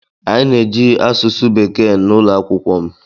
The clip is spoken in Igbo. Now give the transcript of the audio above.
Anyị na-eji asụsụ bekee na ụlọ akwụkwọ m.